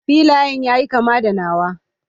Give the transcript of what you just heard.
Filayan yayi kama da nawa.